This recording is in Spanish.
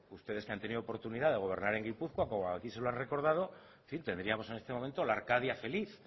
ustedes que han tenido oportunidad de gobernar en gipuzkoa como aquí se lo ha recordado en fin tendríamos en este momento la arcadia feliz